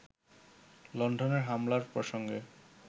লন্ডনের হামলার প্রসঙ্গে